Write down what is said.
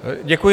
Děkuji.